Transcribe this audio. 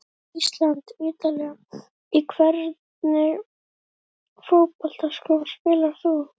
ísland- ítalía Í hvernig fótboltaskóm spilar þú?